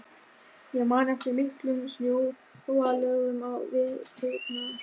Ég man eftir miklum snjóalögum á veturna.